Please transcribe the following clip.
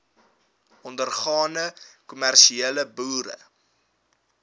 ondergaande kommersiële boere